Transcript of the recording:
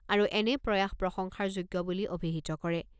আৰু এনে প্ৰয়াস প্ৰশংসাৰ যোগ্য বুলি অভিহিত কৰে।